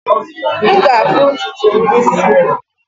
M ga-afụ ntutu m isi.